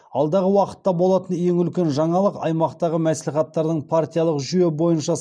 алдағы уақытта болатын ең үлкен жаңалық аймақтағы мәслихаттардың партиялық жүйе бойынша